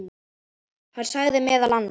Hann sagði meðal annars